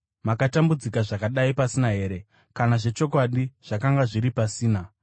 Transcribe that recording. Makatambudzika zvakadai pasina here, kana zvechokwadi zvakanga zviri pasina?